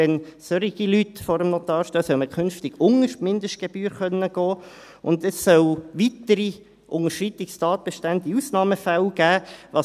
Wenn solche Leute vor dem Notar stehen, soll man künftig unter die Mindestgebühr gehen können, und es soll weitere Unterschreitungstatbestände in Ausnahmefällen geben.